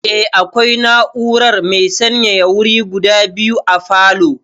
Eh, akwai na'urar mai sanyaya wuri guda biyu a falow